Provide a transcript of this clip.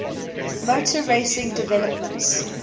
motor racing developments